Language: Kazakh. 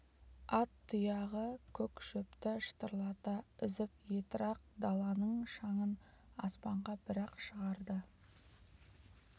ат тұяғы көк шөпті шытырлата үзіп етрақ даланың шаңын аспанға бір-ақ шығарды